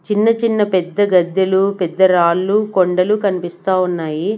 చిన్న చిన్న పెద్ద గెద్దెలు పెద్ద రాళ్లు కొండలు కనిపిస్తా ఉన్నాయి.